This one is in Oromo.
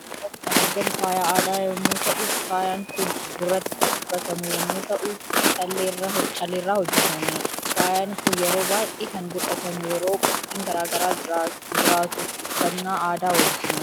Suuraa kanarratti kan argamu faaya aada yommuu ta'u faayaan Kun gurratti kan ufffatamu yommuu ta'uu calleerra hojjetame. Faayan Kun yeroo baay'ee kan godhatamu yeroo qophiin garaa garaa jiraattu uffannaa aadaa wajjini.